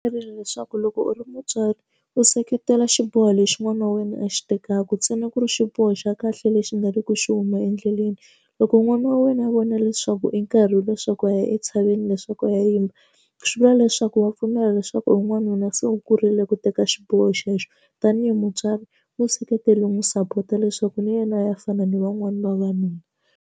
Byerile leswaku loko u ri mutswari u seketela xiboho lexi n'wana wa wena a xi tekaka ntsena ku ri xiboho xa kahle lexi nga le ku xi huma endleleni loko n'wana wa wena a vona leswaku i nkarhi leswaku a ya entshaveni veni leswaku ya yimba swi vula leswaku wa pfumela leswaku n'wanuna se u kurile ku teka xiboho xexo tanihi mutswari museketeli n'wi sapota leswaku na yena a ya fana ni van'wani vavanuna.